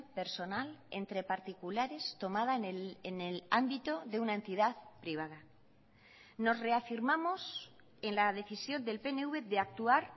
personal entre particulares tomada en el ámbito de una entidad privada nos reafirmamos en la decisión del pnv de actuar